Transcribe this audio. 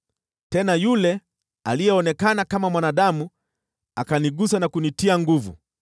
Tena yule aliyeonekana kama mwanadamu akanigusa na kunitia nguvu.